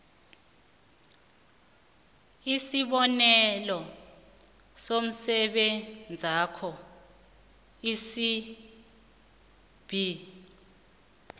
isibonelo somsebenzakho isib